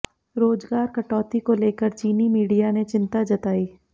रोजगार कटौती को लेकर चीनी मीडिया ने चिंता जताई